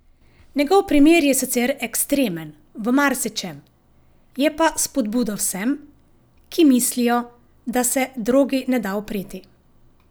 Njegov primer je sicer ekstremen, v marsičem, je pa spodbuda vsem, ki mislijo, da se drogi ne da upreti.